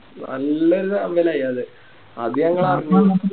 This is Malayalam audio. നല്ല ചാമ്പലായി അത് അത് ഞങ്ങളറിഞ്ഞു